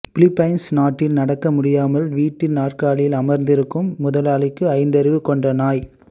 Philippines நாட்டில் நடக்க முடியாமல் வீல் நாற்காலியில் அமர்ந்திருக்கும் முதலாளிக்கு ஐந்தறிவு கொண்ட நாய்